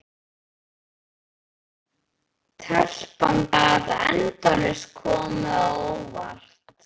Telpan gat endalaust komið á óvart.